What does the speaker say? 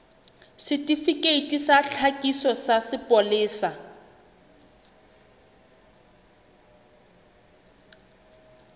setifikeiti sa tlhakiso sa sepolesa